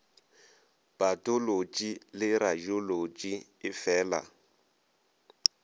patolotši le radiolotši e feela